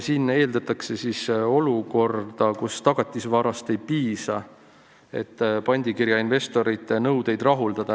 Siin mõeldakse siis olukorda, kus tagatisvarast ei piisa, et pandikirja investorite nõudeid rahuldada.